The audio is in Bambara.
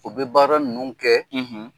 O bɛ baara ninnu kɛ,